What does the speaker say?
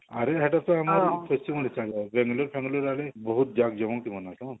ଆହୁରି ହେଟା ତ ଆମର ଖୁସି ଜଙ୍ଗଲି family ଭାବି ବହୁତ ଜମନ୍ତି ହେମାନେ